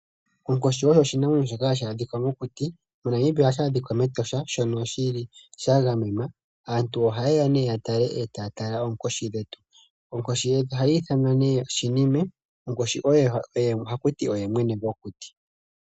Onkoshi oyo oshinamwenyo shoka hashi adhika mokuti. MoNamibia ohashi adhika mEtosha, mono shili sha gamenwa. Aantu ohaye ya ne ya tale etaya tala oonkoshi dhetu. Onkoshi yetu ohayi ithanwa nee Shinime. Nkoshi oye hakuti oye mwene gwokuti.